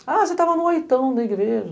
Ah, você estava no oitão da igreja.